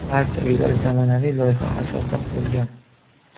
Barcha uylar zamonaviy loyiha asosida qurilgan.